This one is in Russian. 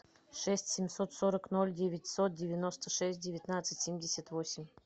шесть семьсот сорок ноль девятьсот девяносто шесть девятнадцать семьдесят восемь